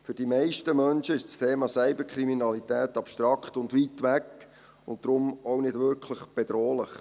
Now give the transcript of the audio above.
Für die meisten Menschen ist das Thema Cyberkriminalität abstrakt und weit weg und deshalb auch nicht wirklich bedrohlich.